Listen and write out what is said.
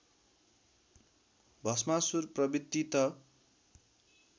भष्मासुर प्रवृत्ति त